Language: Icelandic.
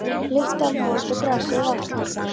Lyktuðu af mold og grasi og vatni.